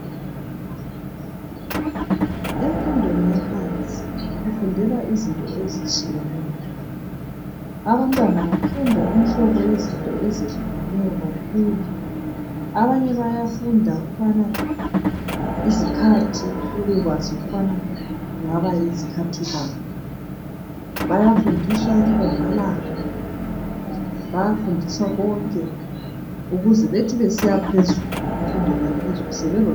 Emfundweni yaphansi kufundelwa izinto ezitshiyeneyo. Abantwana bafunda imihlobo yezinto ezehlukeneyo kakhulu! Abanye bayafunda ukubana izikhathi, Bebekwazi ukubana yizikhathi bani. Bayafunda inkombalanga. Bayafunda Konke! Ukuze bathi sebesiya emfundweni yaphezulu, sebelolwazi.